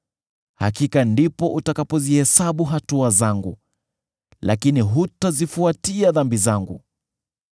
Hakika ndipo utakapozihesabu hatua zangu, lakini hutazifuatia dhambi zangu.